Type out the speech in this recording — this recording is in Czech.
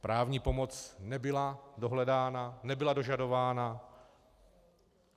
Právní pomoc nebyla dohledána, nebyla dožadována.